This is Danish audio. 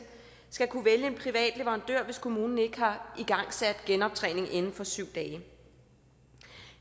skal kunne vælge en privat leverandør hvis kommunen ikke har igangsat genoptræning inden for syv dage